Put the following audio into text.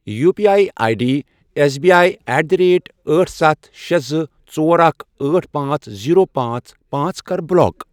U P I I D S B I at the rate أٹھ، ستھَ، شے، زٕ، ژور، اکھَ، أٹھ، پانژھ، زیٖرو، پانژھ، پانژھ، کَر بلاک۔